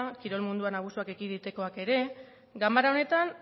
kirol munduan erasoak ekiditekoak ere ganbara honetan